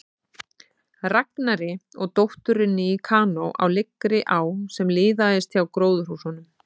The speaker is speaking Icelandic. Ragnari og dótturinni í kanó á lygnri á sem liðaðist hjá gróðurhúsunum.